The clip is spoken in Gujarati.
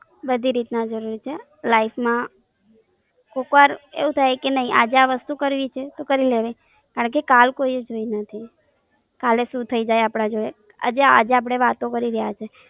બધી રીત ના જરૂરી છે, લાઈફમાં કોક વાર એવું થઇ કે નાઈ આજે આ વસ્તુ કરવી છે? તો કરી લેવાય કારણકે કાલ કોઈંએ જોઉં નથી. કાલે સુ થઇ જાય. આજે અપને વાતો કરી રહ્યા છીએ.